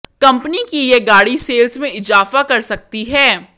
company की ये गाड़ी सेल्स में इजाफा कर सकती है